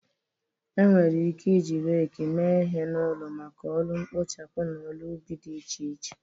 Enwere ike iji rake mee ihe n'ụlọ maka ọrụ mkpochapụ na ọrụ ubi dị iche iche.